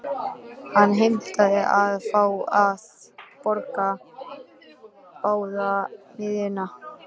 Hann heimtaði að fá að borga báða miðana.